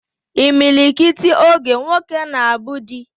Imilikiti oge, nwoke na abu di